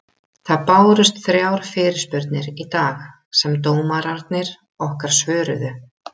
Það bárust þrjár fyrirspurnir í dag sem dómararnir okkar svöruðu.